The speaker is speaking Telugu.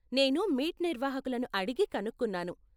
నీను మీట్ నిర్వాహకులను అడిగి కనుక్కున్నాను.